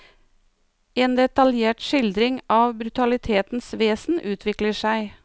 En detaljert skildring av brutalitetens vesen utvikler seg.